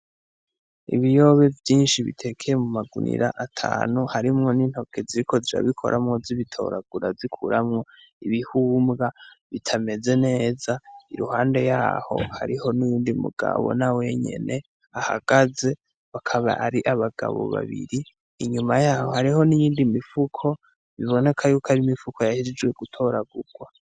Ibiyobe vyinshi bitekeye mu magunira atanu harimwo n'intoke ziko zabikoramwo z'ibitoragura zikuramwo ibihumbwa bitameze neza i ruhande yaho hariho n'uwundi mugabo na wenyene ahagaze bakaba ari abagabo babiri inyuma yaho hariho niyoindimwe mfuko biboneka yuko ari imifuko yahejijwe gutoragurwa.